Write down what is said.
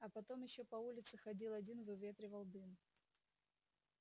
а потом ещё по улице ходил один выветривал дым